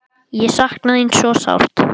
Ég sakna þín svo sárt.